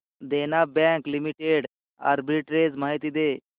देना bank limited arbitrage माहिती दे